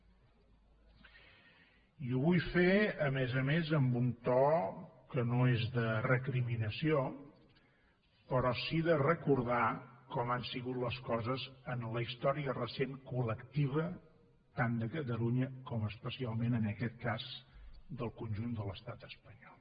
i ho vull fer a més a més amb un to que no és de recriminació però sí de recordar com han sigut les coses en la història recent col·lectiva tant de catalunya com especialment en aquest cas del conjunt de l’estat espanyol